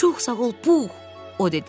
Çox sağ ol, Pux!